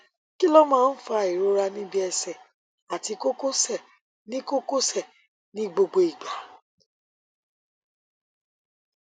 kí ló máa ń fa ìrora níbi ẹsẹ àti kókósẹ ní kókósẹ ní gbogbo ìgbà